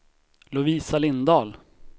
Lovisa Lindahl